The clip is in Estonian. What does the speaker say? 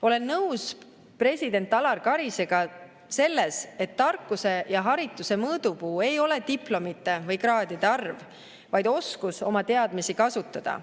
Olen nõus president Alar Karisega selles, et tarkuse ja harituse mõõdupuu ei ole diplomite või kraadide arv, vaid oskus oma teadmisi kasutada.